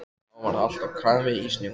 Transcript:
Þá var allt á kafi í snjó.